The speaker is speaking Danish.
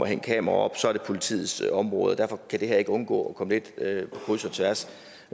hænge kameraer op så er det politiets område og derfor kan det her ikke undgå at komme lidt på kryds og tværs